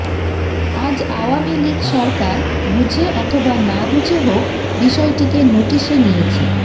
আজ আওয়ামী লীগ সরকার বুঝে অথবা না বুঝে হোক বিষয়টিকে নোটিশে নিয়েছে